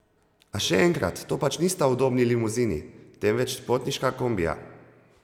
A še enkrat, to pač nista udobni limuzini, temveč potniška kombija!